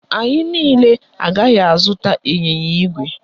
Anyị niile agaghị azụta ịnyịnya ígwè